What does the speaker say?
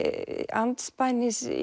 andspænis